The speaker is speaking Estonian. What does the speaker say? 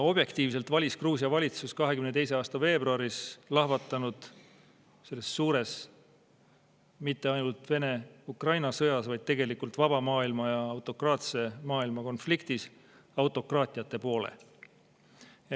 Objektiivselt valis Gruusia valitsus 2022. aasta veebruaris lahvatanud suures mitte ainult Vene-Ukraina sõjas, vaid tegelikult vaba maailma ja autokraatse maailma konfliktis autokraatiate poole.